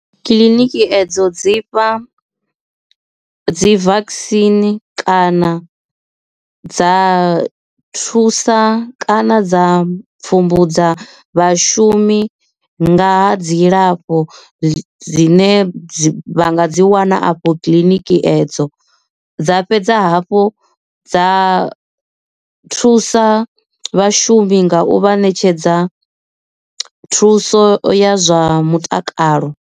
Kiḽiniki edzo dzi fha dzi vakisini kana dza thusa kana dza pfhumbudza vhashumi nga ha dzilafho dzine dzi vha dzi wana afho kiḽiniki edzo dza fhedza hafhu dza thusa vhashumi nga u vha ṋetshedza thuso ya zwa mutakalo.